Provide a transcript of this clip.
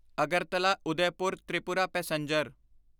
Agartala Udaipur Tripura passenger